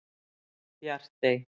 Bjartey